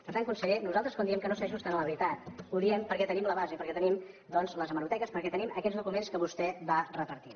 per tant conseller nosaltres quan diem que no s’ajusten a la veritat ho diem perquè tenim la base perquè tenim doncs les hemeroteques perquè tenim aquests documents que vostè va repartint